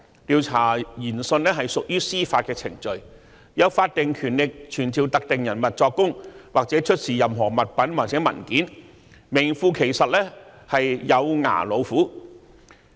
調查研訊屬於司法程序，有法定權力傳召特定人物作供或出示任何物品或文件，是名副其實的"有牙老虎"。